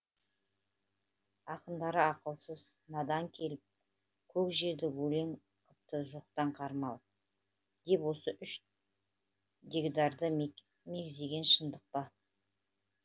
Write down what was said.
ақындары ақылсыз надан келіп көр жерді өлең қыпты жоқтан қармап деп осы үш дегдарды мекзегені шындық па